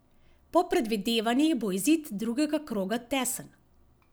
Po predvidevanjih bo izid drugega kroga tesen.